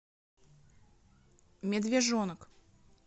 медвежонок